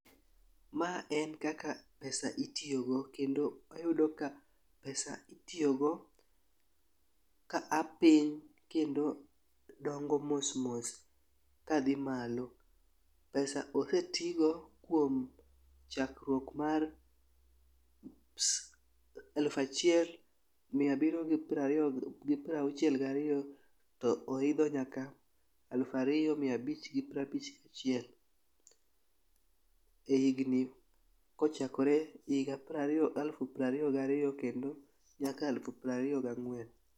Ma en kaka pesa itiyo go kendo wayudo ka pesa itiyo go ka a piny kendo dongo mosmos kadhi malo. Pesa osetigo kuom chakruok mar alufa chiel mia biryo gi prariyo gi gi prauchiel gariyo to oidho nyaka alufariyo mia bich gi pra bich gachiel e higni kochakore higa prariyo alufu prariyo gariyo kendo nyaka alufu prariyo gang'wen.